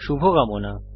শুভকামনা